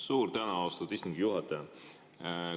Suur tänu, austatud istungi juhataja!